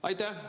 Aitäh!